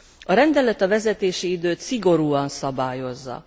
A rendelet a vezetési időt szigorúan szabályozza.